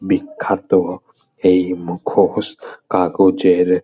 বিখ্যাত এই মুখোশ কাগজের।